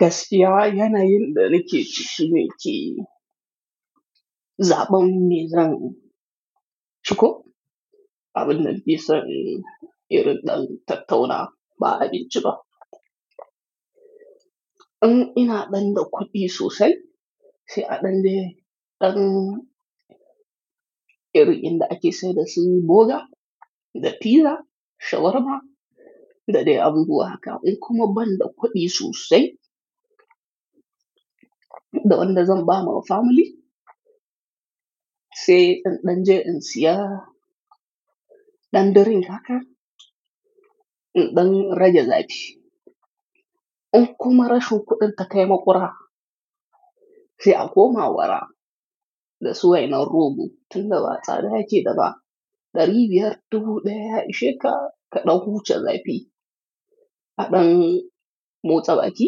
Gastiya yana yin da danake cikin shi ne ci. Zaɓon mezran ciko, abin nan bisa irin ɗan tattauna ba a bin ci ba. In ina ɗan da kuɗi sosai, sai a ɗan le ɗan irin inda ake saida su boga da pizza shawarma da dai abubuwa haka. In kuma ban da kuɗi sosai, da ban da zan ba ma family, sai in ɗan je in siya ɗan daren haka in ɗan raja zaɓi. In kuma rashon kuɗin ta taimako ra, sai a koma wara da suwai na rogo tun da ba tsada yake daba ɗari biyar dubu ɗaya ishe ka ka ɗauku chan zaɓi. A ɗan motsa baƙi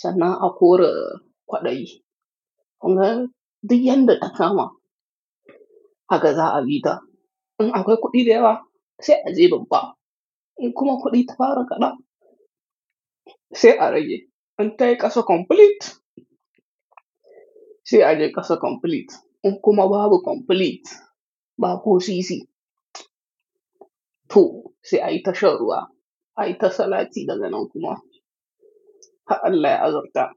sannan a kore kwaɗayi. Kun ga? Duk yadda takama a gaza a bi ta. In aka yi kuɗi dai ba, sai a je babban. In kuma kuɗi ta fara kaɗa, sai a rage. In ta yi ƙasa complete, sai a je ƙasa complete. In kuma babu complete, ba ku sisi. To, sai a yi tasharwa, a yi tasalati daga nan kuma har allah ya azurta.